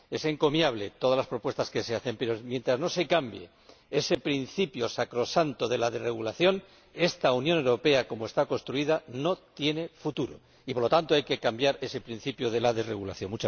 Son encomiables todas las propuestas que se hacen, pero, mientras no se cambie ese principio sacrosanto de la desregulación, esta Unión Europea, como está construida, no tiene futuro y, por lo tanto, hay que cambiar ese principio de la desregulación.